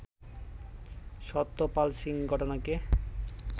সত্যপাল সিং ঘটনাকে